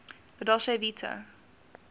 la dolce vita